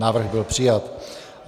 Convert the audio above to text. Návrh byl přijat.